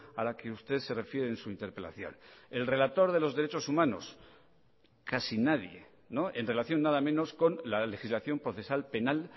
a la que usted se refiere en su interpelación el relator de los derechos humanos casi nadie en relación nada menos con la legislación procesal penal